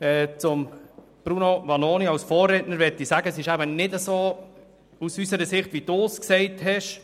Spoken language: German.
Zu Grossrat Vanoni möchte ich sagen, dass es aus unserer Sicht nicht so ist, wie Sie es darlegen.